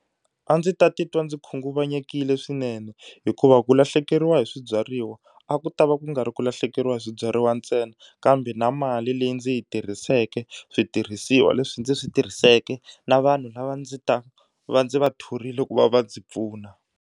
A ndzi ta titwa ndzi khunguvanyekile swinene hikuva ku lahlekeriwa hi swibyariwa a ku ta va ku nga ri ku lahlekeriwa hi swibyariwa ntsena kambe na mali leyi ndzi yi tirhiseke switirhisiwa leswi ndzi swi tirhiseke na vanhu lava ndzi ta va ndzi va thorile ku va va ndzi pfuna.